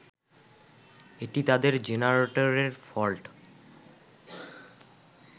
এটি তাদের জেনারেটরের ফল্ট।